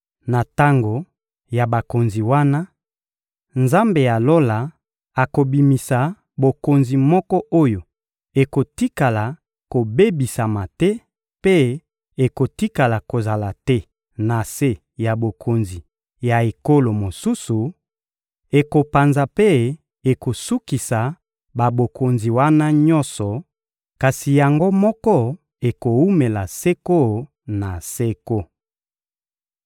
Na tango ya bakonzi wana, Nzambe ya Lola akobimisa bokonzi moko oyo ekotikala kobebisama te mpe ekotikala kozala te na se ya bokonzi ya ekolo mosusu; ekopanza mpe ekosukisa babokonzi wana nyonso, kasi yango moko ekowumela seko na seko.